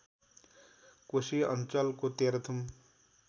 कोशी अञ्चलको तेह्रथुम